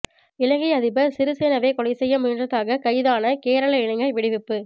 இலங்கை அதிபர் சிறிசேனவை கொலை செய்ய முயன்றதாக கைதான கேரளா இளைஞர் விடுவிப்பு